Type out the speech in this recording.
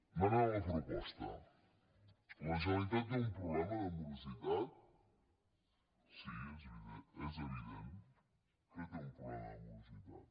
anant a la proposta la generalitat té un problema de morositat sí és evident que té un problema de morositat